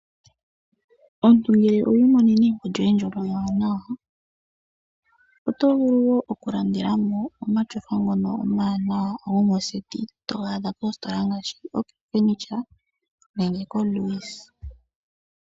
Omuntu ngele owi imonena egumbo lyoye ewanawa, oto vulu oku landelamo omatyofa omawanawa yo moondunda yoku kuutumba togaadha koositola ngaashi ok furniture nenge koalways.